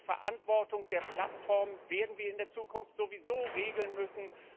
Die Verantwortung der Plattformen werden wir in der Zukunft sowieso regeln müssen.